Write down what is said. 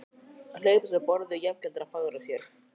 Að hlaupast frá borði jafngildir að farga sér.